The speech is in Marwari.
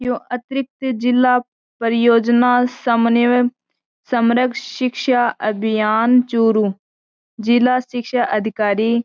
ये अतरिक्त जिला परियोजना संनबय संरक्षक शिक्षा अभियान चूरू जिला शिक्षा अधिकारी --